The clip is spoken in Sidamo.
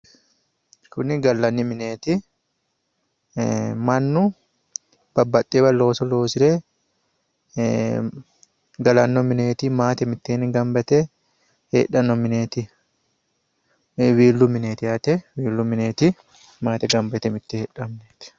kuni gallanni mineeti mannu babbaxxeyoowa looso loosire galanno mineeti maate mitteenni gamba yite heedhanno mineeti wiillu mineeti yaate maate mittenni gamba yite heedhanno mineeti